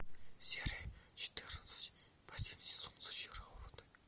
серия четырнадцать последний сезон зачарованные